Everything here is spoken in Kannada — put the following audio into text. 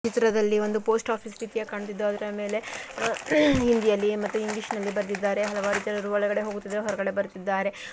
ಇಲ್ಲಿ ಒಂದು ಪೋಸ್ಟ್‌ ಆಫೀಸ್‌ ರೀತಿ ಕಂಡಿದ್ದು ಅದರ ಮೇಲೆ ಹಿಂದಿಯಲ್ಲಿ ಮತ್ತು ಇಂಗ್ಲಿಷ್‌ನಲ್ಲಿ ಬರೆದಿದ್ದಾರೆ ಹಲವಾರು ಜನರು ಒಳಗಡೆ ಹೋಗುತ್ತಿದ್ದಾರೆ ಮತ್ತು ಹೊರಗಡೆ ಬರುತ್ತಿದ್ದಾರೆ.